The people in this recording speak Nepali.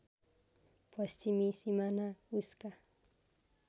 पश्चिमी सिमाना उसका